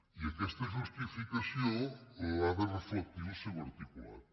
i aquesta justificació l’ha de reflectir el seu articulat